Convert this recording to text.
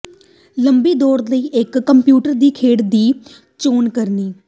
ਲੰਮੀ ਦੋੜ ਲਈ ਇੱਕ ਕੰਪਿਊਟਰ ਦੀ ਖੇਡ ਦੀ ਚੋਣ ਕਰਨੀ